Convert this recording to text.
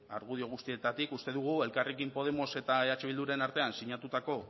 argudio guztietatik uste dugu elkarrekin podemos eta eh bilduren artean sinatutako